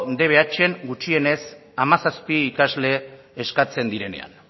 dbhn gutxienez hamazazpi ikasle eskatzen direnean